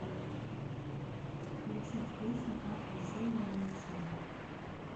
включить песню ах вы сени мои сени